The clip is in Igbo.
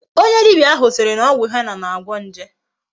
Onye dibia ahu siri na ogwu henna na-agwo nje